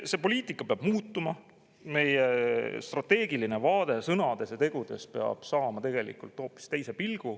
See poliitika peab muutuma, meie strateegiline vaade sõnades ja tegudes peab saama tegelikult hoopis teise pilgu.